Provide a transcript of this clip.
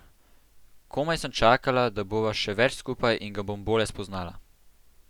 Komaj sem čakala, da bova še več skupaj in ga bom bolje spoznala.